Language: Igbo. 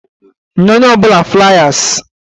Nye onye ọ bụla fliers!